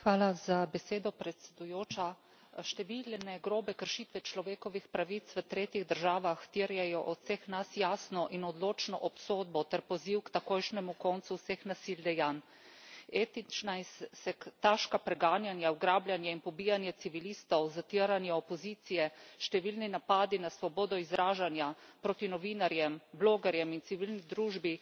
Hvala za besedo, predsedujoča. Številne grobe kršitve človekovih pravic v tretjih državah terjajo od vseh nas jasno in odločno obsodbo ter poziv k takojšnjemu koncu vseh nasilnih dejanj. Etična in sektaška preganjanja, ugrabljanje in pobijanje civilistov, zatiranje opozicije, številni napadi na svobodo izražanja, proti novinarjem, blogerjem in civilni družbi.